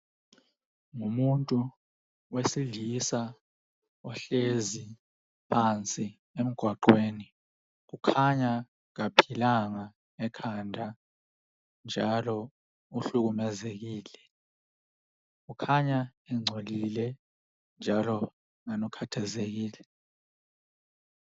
Ngumuntu wesilisa ohlezi phansi emgwaqweni .Kukhanya kaphilanga ekhanda njalo uhlukumezekile Kukhanya engcolile njalo kungani ukhathazekile